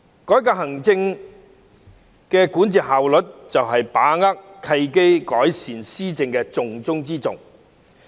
改革行政管治效率，就是"把握契機，改善施政"的重中之重。